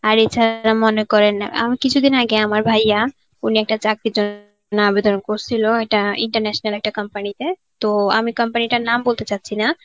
আর এছাড় এরা মনে করেন না. আমার কিছুদিন আগে আমার ভাইয়্যা একটা চাকরি আবেদন করছিল. একটা international একটা company তে. তো আমি company টার নাম বলতে চাচ্ছি না.